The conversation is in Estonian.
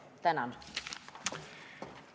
Tänan!